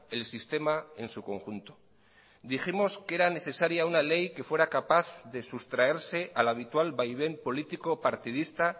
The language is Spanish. el sistema en su conjunto dijimos que era necesaria una ley que fuera capaz de sustraerse al habitual vaivén político partidista